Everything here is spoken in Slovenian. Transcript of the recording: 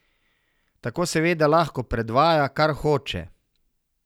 Tako seveda lahko predvaja, kar hoče.